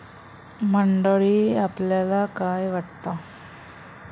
मंडळी, आपल्याला काय वाटतं?